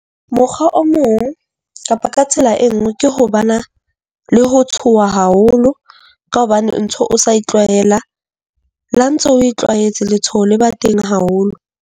Mokgwa o mong kapa ka tsela e nngwe ke ho bana le ho tshoha haholo, ka hobane ntho o sa tlwaela la ntso oe tlwaetse letshoho le ba teng haholo.